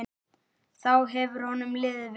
Þá hefur honum liðið vel.